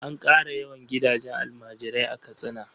An ƙara yawan gidajen almajirai a Katsina.